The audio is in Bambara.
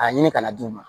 A ɲini ka na d'u ma